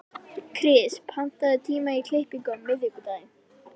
Kris, pantaðu tíma í klippingu á miðvikudaginn.